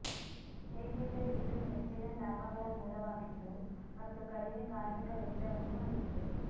ಏಕೆಂದರೆ ಇದು ಹೆಚ್ಚಿನ ಲಾಭಗಳ ಮೂಲವಾಗಿತ್ತು ಮತ್ತು ಕಡಿಮೆ ಕಾರ್ಮಿಕ ವೆಚ್ಚವನ್ನು ಹೊಂದಿತ್ತು